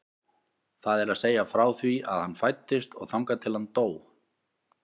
Það er að segja frá því að hann fæddist og þangað til að hann dó.